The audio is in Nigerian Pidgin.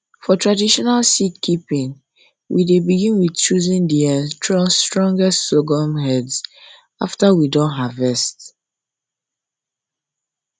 for traditional for traditional seed um keeping we dey begin with choosing the um strongest sorghum heads after we don harvest